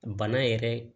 Bana yɛrɛ